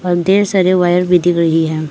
और ढेर सारे वायर भी दिख रही हैं।